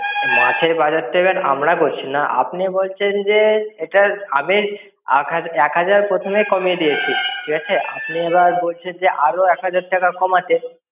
মাছের বাজার তো এবার আমরা করছি না আপনি বলছেন যে এটা আগে আট এক হাজার প্রথমেই কমিয়ে দিয়েছি ঠিক আছে আপনি এবার বলছেন যে আরো এক হাজার টাকা কমাতে